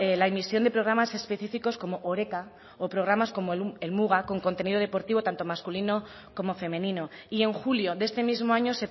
la emisión de programas específicos como oreka o programas como helmuga con contenido deportivo tanto masculino como femenino y en julio de este mismo año